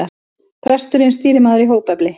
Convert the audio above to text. Presturinn stýrimaður í hópefli.